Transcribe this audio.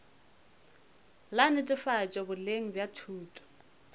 la netefatšo boleng bja thuto